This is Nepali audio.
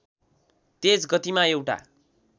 तेज गतिमा एउटा